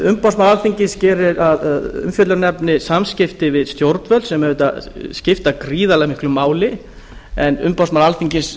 umboðsmaður alþingis gerir að umfjöllunarefni samskipti við stjórnvöld sem auðvitað skipta gríðarlega miklu máli en umboðsmaður alþingis